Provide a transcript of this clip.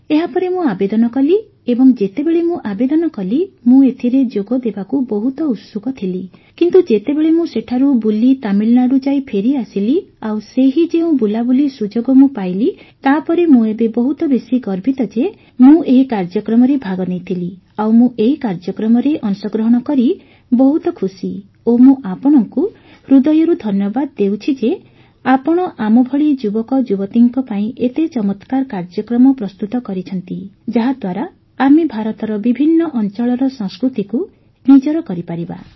ଏହାପରେ ମୁଁ ଆବେଦନ କଲି ଏବଂ ଯେତେବେଳେ ମୁଁ ଆବେଦନ କଲି ମୁଁ ଏଥିରେ ଯୋଗଦେବାକୁ ବହୁତ ଉତ୍ସୁକ ଥିଲି କିନ୍ତୁ ଯେତେବେଳେ ମୁଁ ସେଠାରୁ ବୁଲି ତାମିଲନାଡୁ ଯାଇ ଫେରିଆସିଲି ଆଉ ସେହି ଯେଉଁ ବୁଲାବୁଲି ସୁଯୋଗ ମୁଁ ପାଇଲି ତାପରେ ମୁଁ ଏବେ ବହୁତ ବେଶୀ ଗର୍ବିତ ଯେ ମୁଁ ଏହି କାର୍ଯ୍ୟକ୍ରମରେ ଭାଗ ନେଇଥିଲି ଆଉ ମୁଁ ଏହି କାର୍ଯ୍ୟକ୍ରମରେ ଅଂଶଗ୍ରହଣ କରି ବହୁତ ଖୁସି ଓ ମୁଁ ଆପଣଙ୍କୁ ହୃଦୟରୁ ଧନ୍ୟବାଦ ଦେଉଛି ଯେ ଆପଣ ଆମ ଭଳି ଯୁବକଯୁବତୀଙ୍କ ପାଇଁ ଏତେ ଚମତ୍କାର କାର୍ଯ୍ୟକ୍ରମ ପ୍ରସ୍ତୁତ କରିଛନ୍ତି ଯାହାଦ୍ୱାରା ଆମେ ଭାରତର ବିଭିନ୍ନ ଅଞ୍ଚଳର ସଂସ୍କୃତିକୁ ନିଜର କରିପାରିବା